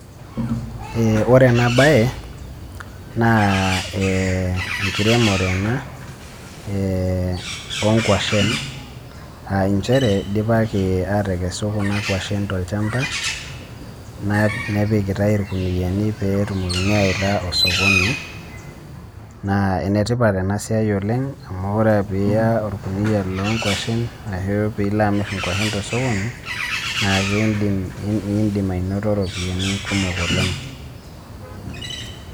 Uh wore ena baye, naah eh enkiremore ena, eh onkuashen, aah nchere dipaki aatekesu kuna kwashen tolshamba, na nepikitai irkuniyiani pee etumokini aawaita osokoni. Naa enetipat ena siai oleng' amu wore pee iya orkuniyia loonkuashen, ashu pee ilo amirr inkuashen tosokoni, naa keidim iindim ainoto iropiyani kumok oleng'.